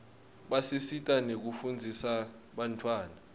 basisita nekufundzisa bantfwana